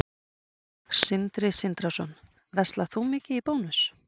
Sindri Sindrason: Verslar þú mikið í Bónus?